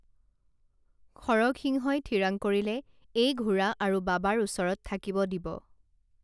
খৰগসিংহই থিৰাং কৰিলে এই ঘোঁৰা আৰু বাবাৰ ওচৰত থাকিব দিব